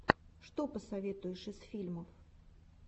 что посоветуешь из фильмов